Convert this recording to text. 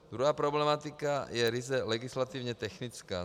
Druhá problematika je ryze legislativně technická.